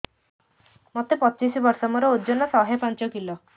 ମୋତେ ପଚିଶି ବର୍ଷ ମୋର ଓଜନ ଶହେ ପାଞ୍ଚ କିଲୋ